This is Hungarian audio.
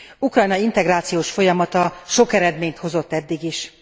Ukrajna integrációs folyamata sok eredményt hozott eddig is.